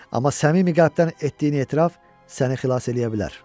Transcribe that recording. Amma səmimi qəlbdən etdiyini etiraf səni xilas eləyə bilər.